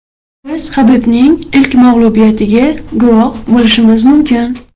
Biz Habibning ilk mag‘lubiyatiga guvoh bo‘lishimiz mumkin.